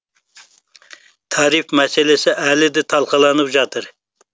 тариф мәселесі әлі де талқыланып жатыр